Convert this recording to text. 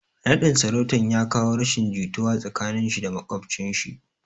Naɗin sarautan ya kawo rashin jituwa tsakanin shi da maƙwabcin shi